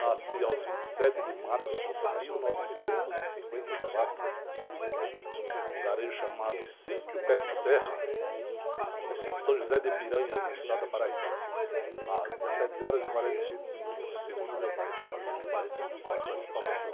Nasci aos vinte e sete de março de mil novecentos e cinquenta e quatro, lugarejo chamado, município de, no estado da, às dezessete horas e quarenta e cinco minutos, segundo meu pai, falecido pai, né? Que me passou essa informação.